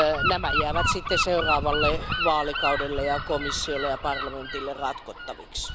Nämä jäävät seuraavalle vaalikaudelle ja komissiolle ja parlamentille ratkottaviksi.